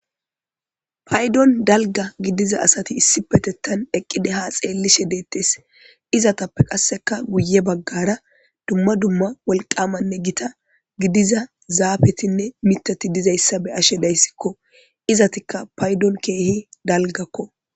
Paydoni dalga gidiza asati issipetethan eqidi ha xeelishe deetes izetappe qaseka guye bagara duma duma wolqama ne gita gidiza zaafetinne mithati dizaysa beyashe daysiko izetika patdon kehi dalgako